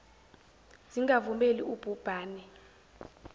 zingavumeli ub hubhane